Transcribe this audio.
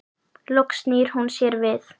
Loks snýr hún sér við.